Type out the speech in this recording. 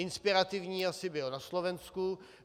Inspirativní asi byl na Slovensku.